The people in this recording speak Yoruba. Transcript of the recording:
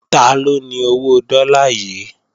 Taló ni owó dọ́là yìí?